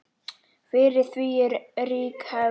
Fyrir því er rík hefð.